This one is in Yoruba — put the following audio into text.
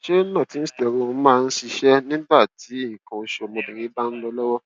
ṣé northisterone máa ń ṣiṣẹ nígbà tí nǹkan osu ọmọbìnrin bá ń lọ lọwọ